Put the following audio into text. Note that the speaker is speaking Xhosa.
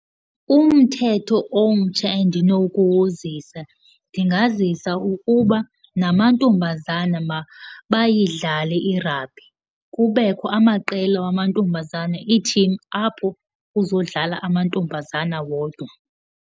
Umthetho omtsha endinokuwuzisa ndingazisa ukuba namantombazana mabayidlale i-rugby. Kubekho amaqela wamantombazane, iithimu apho kuzodlala amantombazana wodwa.